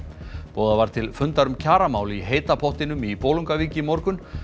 boðað var til fundar um kjaramál í heita pottinum í Bolungarvík í morgun